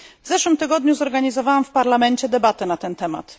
W zeszłym tygodniu zorganizowałam w Parlamencie debatę na ten temat.